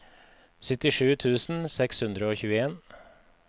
syttisju tusen seks hundre og tjueen